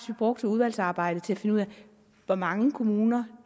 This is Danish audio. vi brugte udvalgsarbejdet til at finde ud af hvor mange kommuner